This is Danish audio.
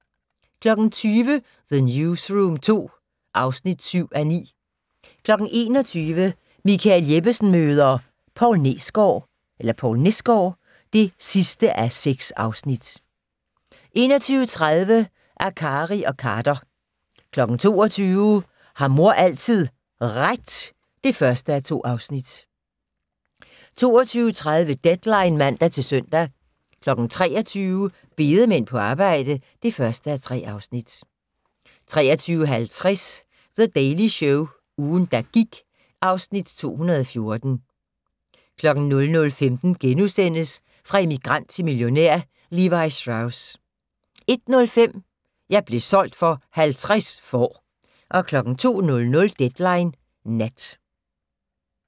20:00: The Newsroom II (7:9) 21:00: Michael Jeppesen møder ... Poul Nesgaard (6:6) 21:30: Akkari og Khader 22:00: Har mor altid RET? (1:2) 22:30: Deadline (man-søn) 23:00: Bedemænd på arbejde (1:3) 23:50: The Daily Show - ugen, der gik (Afs. 2014) 00:15: Fra immigrant til millionær: Levi Strauss * 01:05: Jeg blev solgt for 50 får 02:00: Deadline Nat